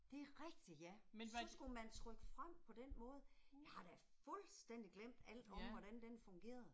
Det er rigtigt ja, så skulle man trykke frem på den måde, jeg har da fuldstændig glemt alt om hvordan den fungerede